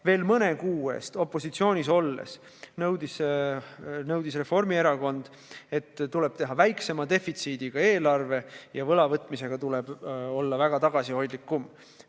Veel mõne kuu eest opositsioonis olles nõudis Reformierakond, et tuleb teha väiksema defitsiidiga eelarve ja võlavõtmisega tuleb olla tagasihoidlikum.